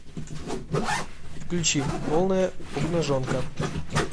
включи полная обнаженка